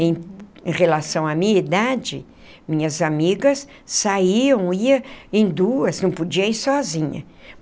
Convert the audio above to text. Em relação à minha idade, minhas amigas saíam, ia em duas, não podia ir sozinha.